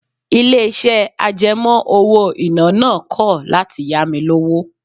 Ilé-iṣẹ́ àjẹmọ́ owó-ìná náà kọ̀ láti ya mi lówó